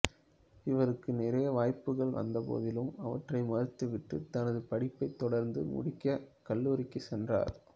இவருக்கு நிறைய வாய்ப்புகள் வந்த போதிலும் அவற்றை மறுத்து விட்டு தனது படிப்பைத் தொடர்ந்து முடிக்க கல்லூரிக்குச் சென்றார்